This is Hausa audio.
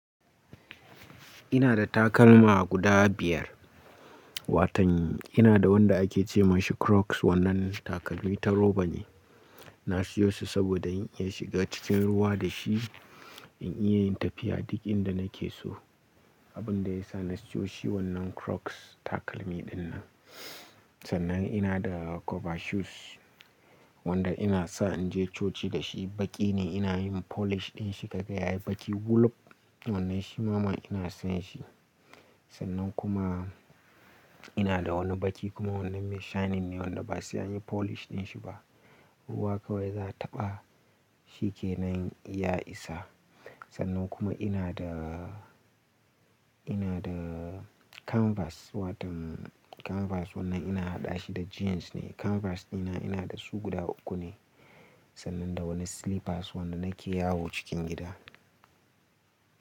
Ina da takalma guda biyar. Watan ina da wanda ake ce masa Crocs, wannan takalmi ta roba ne. Na sayo shi sabida in iya shiga cikin ruwa da shi, in iya yin tafiya duk inda na ke so. Abin da yasa na sayo shi wannan Crocs takalmi dinnan. Sannan ina da cover shoes wanda ina sa in je coci da shi. Baƙi ne ina yin polish din shi kaga ya yayi baƙi wuluk wannan shi mana ina son shi. Sannan kuma ina da wani baƙi, kuma wannan mai shining ne wanda ba sai anyi polish ɗin shi ba. Ruwa kawai za a taɓa shi kenan ya isa. Sannan kuma ina da, ina da canvas, watan canvas wannan ina haɗa shi da jeans ne. Canvas dina ina da su guda uku ne. Sannan da wani slippers wanda nake yawo cikin gida.